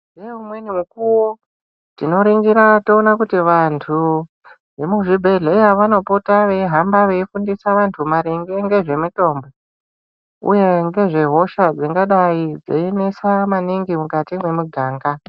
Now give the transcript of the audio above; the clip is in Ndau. Neumweni mukuwo tinoringira toona kuti vantu vemuzvibhedhleya vanopota veihamba veifundisa vantu maringe ngezvemitombo, uye ngezvehosha dzingadai dzeinetsa maningi mukati memiganga .